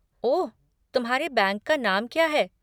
ओह, तुम्हारे बैंक का नाम क्या है?